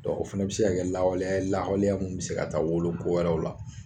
Dɔ o fɛnɛ bi se ka kɛ lawaleya lahawleya min bi se ka taa wolo ko wɛrɛw la.